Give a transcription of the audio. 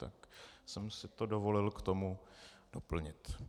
Tak jsem si to dovolil k tomu doplnit.